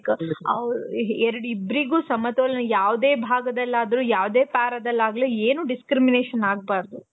like ಇಬ್ರಿಗು ಸಮತೋಲನ ಯಾವ್ದೇ ಭಾಗದಲ್ಲಾದ್ರು ಯಾವ್ದೇ para ದಲ್ಲಿ ಆದ್ರು ಏನು discrimination ಆಗ್ಬಾರ್ದು.